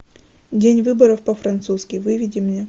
день выборов по французски выведи мне